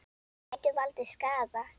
Gætu valdið skaða.